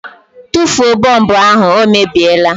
Tụfuo bọlbụ ahụ, ọ mebiela